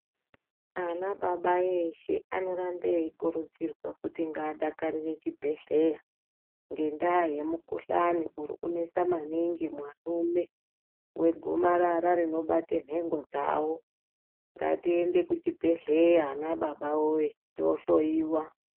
Ana baba eshe anorambe eikurudzirwa kuti ngaadakarire chibhedhleya ngendaa yemukhuhlane urikunesa maningi muarume wegomarara rinobate nhengo dzawo ngatiende kuchibhedhleya ana baba woyo toohloyiwa.